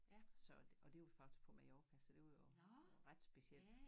Så og det var faktisk på Mallorca så det var jo ret specielt